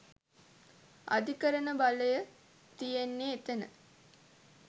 අධිකරණ බලය තියෙන්නේ එතන.